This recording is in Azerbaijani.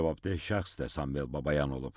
Cavabdeh şəxs də Sambel Babayan olub.